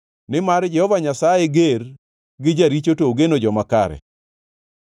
Nimar Jehova Nyasaye ger gi jaricho to ogeno joma kare.